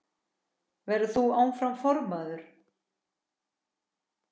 Verður þú áfram formaður?